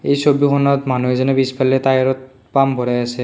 এই ছবিখনত মানুহ এজনে পিছফালে টায়াৰত পাম্প ভৰাই আছে।